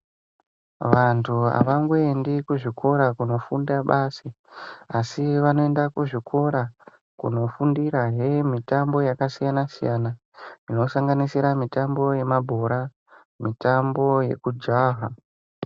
Vantu avangoendi kuzvikora kundofunda basi asi vanoenda kuzvikora kundofundirahe mitambo yakasiyana-siyana inosanganisira mitambo yemabhora, mitambo yekujaha.